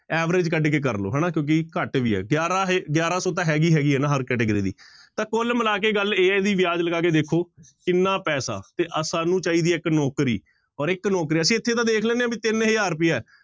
Average ਕੱਢ ਕੇ ਕਰ ਲਓ ਹਨਾ ਕਿਉਂਕਿ ਘੱਟ ਵੀ ਹੈ ਗਿਆਰਾਂ ਹ ਗਿਆਰਾਂ ਸੌ ਤਾਂ ਹੈਗੀ ਹੈਗੀ ਹੈ ਨਾ ਹਰ category ਦੀ ਤਾਂ ਕੁੱਲ ਮਿਲਾ ਕੇ ਗੱਲ ਇਹ ਹੈ ਵੀ ਵਿਆਜ਼ ਲਗਾ ਕੇ ਦੇਖੋ, ਕਿੰਨਾ ਪੈਸਾ ਤੇ ਸਾਨੂੰ ਚਾਹੀਦੀ ਹੈ ਇੱਕ ਨੌਕਰੀ ਔਰ ਇੱਕ ਨੌਕਰੀ, ਅਸੀਂ ਇੱਥੇ ਤਾਂ ਦੇਖ ਲੈਂਦੇ ਹਾਂ ਵੀ ਤਿੰਨ ਹਜ਼ਾਰ ਰੁਪਇਆ,